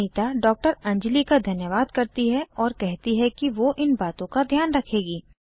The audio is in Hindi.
अनीता डॉ अंजली का धन्यवाद करती है और कहती है कि वो इन बातों का ध्यान रखेगी